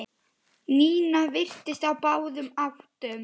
Nína virtist á báðum áttum.